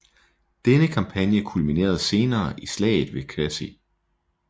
Denne kampagne kulminerede senere i slaget ved Crécy